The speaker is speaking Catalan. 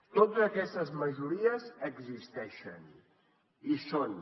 totes aquestes majories existeixen hi són